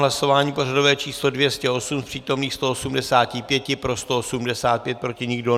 Hlasování pořadové číslo 208, z přítomných 185 pro 185, proti nikdo.